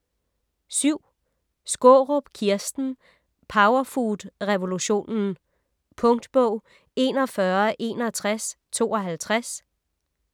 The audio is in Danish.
Skaarup, Kirsten: Powerfood revolutionen Punktbog 416152